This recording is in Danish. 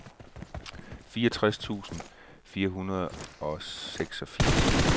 fireogtres tusind fire hundrede og seksogfirs